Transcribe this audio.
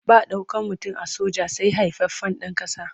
Ba ɗaukan mutum a soja sai haifaffen ɗan ƙasa.